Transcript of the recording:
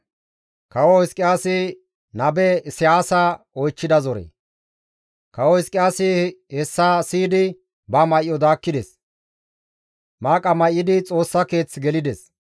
Kawo Hizqiyaasi hessa siyidi ba may7o daakkides; maaqa may7idi Xoossa keeth gelides.